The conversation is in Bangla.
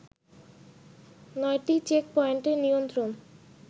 নয়টি চেকপয়েন্টের নিয়ন্ত্রণ